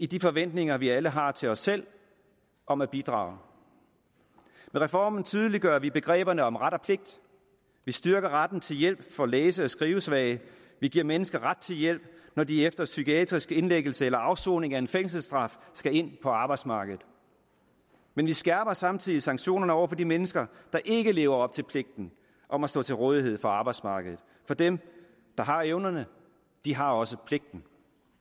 de forventninger vi alle har til os selv om at bidrage med reformen tydeliggør vi begreberne om ret og pligt vi styrker retten til hjælp for læse og skrivesvage vi giver mennesker ret til hjælp når de efter psykiatrisk indlæggelse eller afsoning af en fængselsstraf skal ind på arbejdsmarkedet men vi skærper samtidig sanktionerne over for de mennesker der ikke lever op til pligten om at stå til rådighed for arbejdsmarkedet for dem der har evnerne har også pligten